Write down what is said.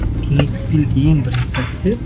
кеңесітк билік ең бірінші сәтте